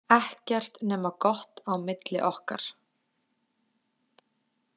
Ekkert nema gott á milli okkar.